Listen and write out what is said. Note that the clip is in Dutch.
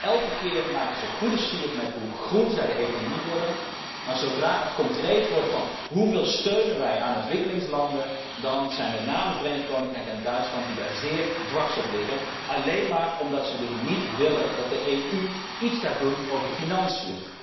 Dus elke keer maken ze goede sier met hoe groen zij de economie willen, maar zodra het concreet wordt en gaat over 'hoeveel steun geven wij aan ontwikkelingslanden', dan zijn met name het Verenigd Koninkrijk en Duitsland die zeer dwars gaan liggen, alleen maar omdat ze niet willen dat de EU iets gaat doen met financiën.